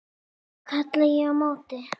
kalla ég á móti.